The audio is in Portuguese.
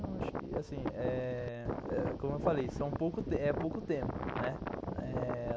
Não, acho que, assim, eh... como eu falei, é pouco tempo, né?